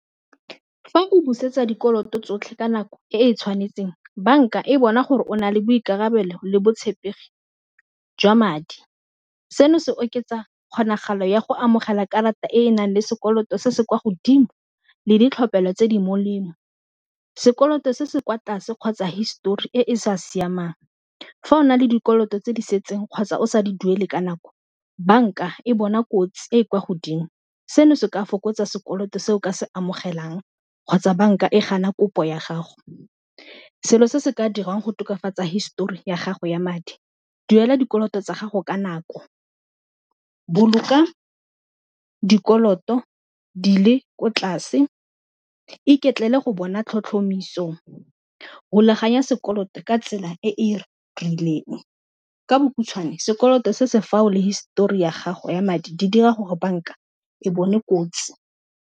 Fa o busetsa dikoloto tsotlhe ka nako e e tshwanetseng, banka e bona gore o na le boikarabelo le botshepegi jwa madi seno se oketsa kgonagalo ya go amogela karata e e nang le sekoloto se se kwa godimo, le ditlhophelo tse di molemo, sekoloto se se kwa tlase kgotsa histori e e sa siamang fa o na le dikoloto tse di setseng kgotsa o sa di duele ka nako, banka e bona kotsi e e kwa godimo seno se ka fokotsa sekoloto se o ka se amogelang kgotsa banka e gana kopo ya gago, selo se se ka dirwang go tokafatsa histori ya gago ya madi, duela dikoloto tsa gago ka nako, boloka dikoloto dile ko tlase, iketlela go bona tlhotlhomiso, rulaganya sekoloto ka tsela e e rileng ka bokhutshwane sekoloto se se fa o le histori ya gago ya madi di dira gore banka e bone kotsi.